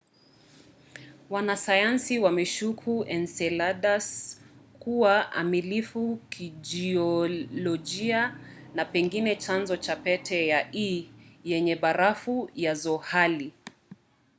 wanasayansi wameshuku enceladus kuwa amilifu kijiolojia na pengine chanzo cha pete ya e yenye barafu ya zohali